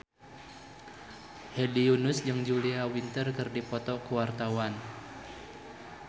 Hedi Yunus jeung Julia Winter keur dipoto ku wartawan